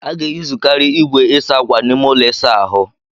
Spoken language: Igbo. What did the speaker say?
A ga-eyuzukari igwe ịsa akwa n'ime ụlọ ịsa ahu.